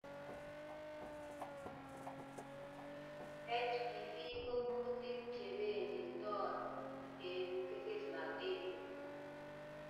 HPV ko kuutik chebenditoo eng' kesesnatet